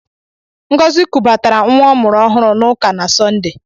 Ngọzi kubatara nwa ọ mụrụ ọhụrụ n'ụka na Sọnde.